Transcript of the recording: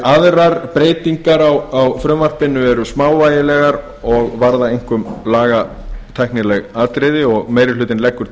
aðrar breytingar á frumvarpinu eru smávægilegar og varða einkum lagatæknileg atriði meiri hlutinn leggur